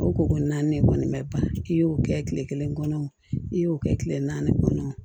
Aw ko ko naani kɔni mɛ ban i y'o kɛ kile kelen kɔnɔ i y'o kɛ kile naani kɔnɔ